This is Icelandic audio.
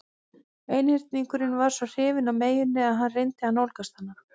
Einhyrningurinn var svo hrifinn af meyjunni að hann reyndi að nálgast hana.